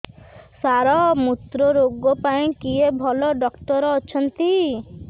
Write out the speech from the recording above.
ସାର ମୁତ୍ରରୋଗ ପାଇଁ କିଏ ଭଲ ଡକ୍ଟର ଅଛନ୍ତି